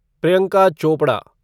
Priyanka Chopra